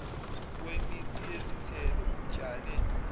wemithi yezithelo utshale